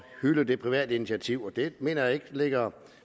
hylde det private initiativ og det mener jeg ikke ligger